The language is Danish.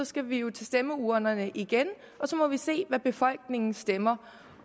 skal vi jo til stemmeurnerne igen og så må vi se hvad befolkningen stemmer